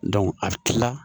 a bɛ kila